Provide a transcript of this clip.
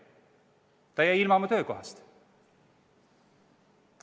Ta jäi ilma oma töökohast.